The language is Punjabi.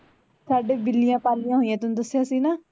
ਸਾਡੇ ਬਿੱਲੀਆਂ ਪਾਲੀਆਂ ਹੋਇਆਂ ਤੈਂਨੂੰ ਦਸਿਆ ਸੀ ਨਾ